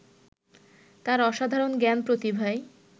তার অসাধারণ জ্ঞান-প্রতিভায়